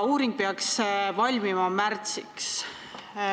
Uuring peaks valmima märtsiks.